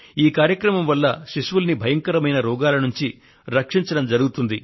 ఈ కార్యక్రమం వల్ల శిశువుల్ని భయంకరమైన రోగాల నుండి రక్షించడం జరుగుతుంది